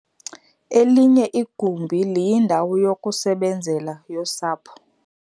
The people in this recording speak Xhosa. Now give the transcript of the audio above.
Elinye igumbi liyindawo yokusebenzela yosapho.